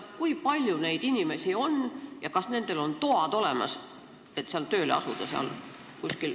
Ma küsin, kui palju on neid inimesi ja kas nendel on toad olemas, et seal RTK-s tööle asuda.